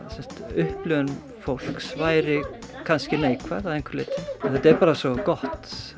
upplifun fólks væri kannski neikvæð að einhverju leyti þetta er bara svo gott